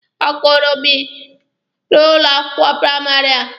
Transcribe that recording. Ọ kuziiri m n'ụlọ akwụkwọ praịmarị a.